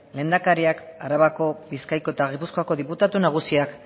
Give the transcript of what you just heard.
lehendakariak arabako bizkaiko eta gipuzkoako diputatu nagusiak